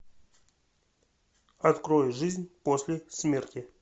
открой жизнь после смерти